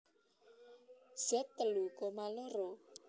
Z telu koma loro